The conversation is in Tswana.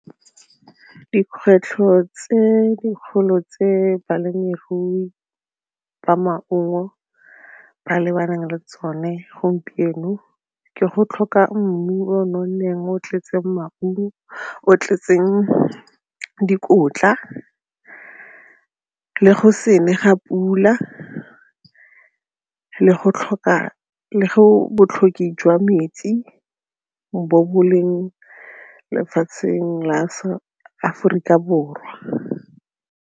Dikgwetlho tse dikgolo tse balemirui ba maungo ba lebaneng le tsone gompieno ke go tlhoka mmu o io nonneng o o tletseng maungo, o o tletseng dikotla le go se ne ga pula le botlhokwa jwa metsi bo bo leng lefatsheng la Aforika Borwa.